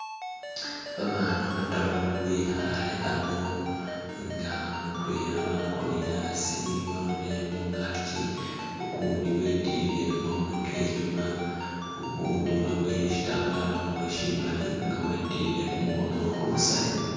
Babana bataru bekhale ano nga mutwela wakonele a'asi walolelele mungaki ukundi wetilile kamakhono ke nyuma, ukundi wabowele shitambala khumurwe shimali nga wetilile kumukhono khulusaya